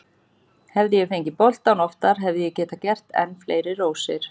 Hefði ég fengið boltann oftar hefði ég getað gert enn fleiri rósir.